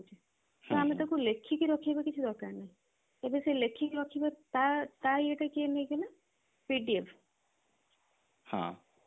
ତ ଆମେ ତାକୁ ଲେଖିକି ରଖିବା କିଛି ଦରକାର ନାହିଁ ତେବେ ସେ ଲେଖିକି ରଖିବା ତା ତା ଇଏ ଟା କିଏ ନେଇଛି ନା PDF